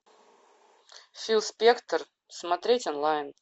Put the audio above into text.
фил спектор смотреть онлайн